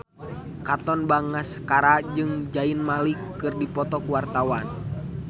Katon Bagaskara jeung Zayn Malik keur dipoto ku wartawan